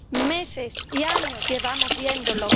meses y años llevamos viéndolo.